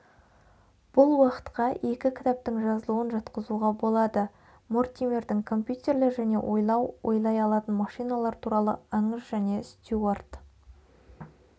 бұл уақытқа екі кітаптың жазылуын жатқызуға болады мортимердің компьютерлер және ойлау ойлай алатын машиналар туралы аңыз және стюарт